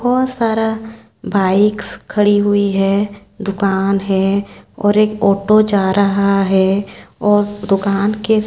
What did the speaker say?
बहुत सारा बाइकस खड़ी हुई है दुकान है और एक ऑटो जा रहा है और दुकान के --